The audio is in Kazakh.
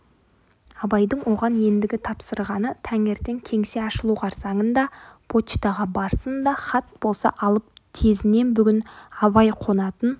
абайдың оған ендігі тапсырғаны таңертең кеңсе ашылу қарсаңында почтаға барсын да хат болса алып тезінен бүгін абай қонатын